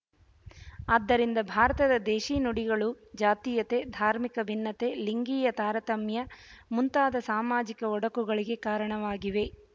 ಆದ್ದರಿಂದ ಭಾರತದ ದೇಶಿ ನುಡಿಗಳು ಜಾತೀಯತೆ ಧಾರ್ಮಿಕ ಭಿನ್ನತೆ ಲಿಂಗೀಯ ತಾರತಮ್ಯ ಮುಂತಾದ ಸಾಮಾಜಿಕ ಒಡಕುಗಳಿಗೆ ಕಾರಣವಾಗಿವೆ